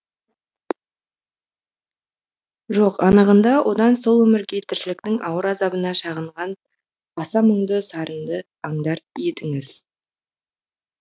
жоқ анығында одан сол өмірге тіршіліктің ауыр азабына шағынған аса мұңды сарынды аңдар едіңіз